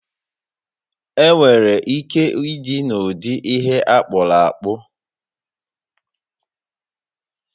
Onwere ike ịdị n'ụdị ihe akpụrụ akpụ